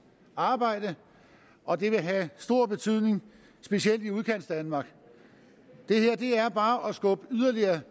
arbejde og det vil have stor betydning specielt i udkantsdanmark det er bare at skubbe yderligere